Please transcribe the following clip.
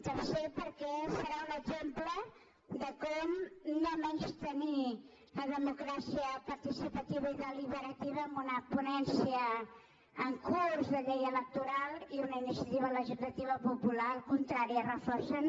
tercer perquè serà un exemple de com no menystenir la democràcia participativa i delibe rativa una ponència en curs de llei electoral i una iniciativa legislativa popular al contrari reforcen